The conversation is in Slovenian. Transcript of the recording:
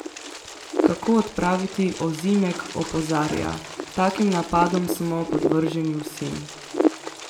Kako odpraviti Ozimek opozarja: "Takim napadom smo podvrženi vsi.